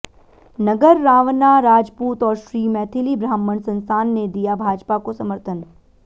नगर रावणा राजपूत और श्री मैथिली ब्राह्मण संस्थान ने दिया भाजपा को समर्थन